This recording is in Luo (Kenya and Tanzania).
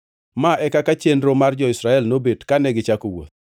Ma e kaka chenro mar jo-Israel nobet kane gichako wuoth.